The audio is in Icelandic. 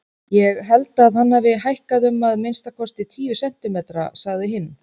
Ég held að hann hafi hækkað um að minnstakosti tíu sentimetra, sagði hinn.